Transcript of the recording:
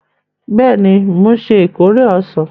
Bẹẹni, mo nṣe ìkórè ọsan